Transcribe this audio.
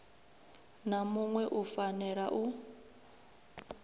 na muṋwe u fanela u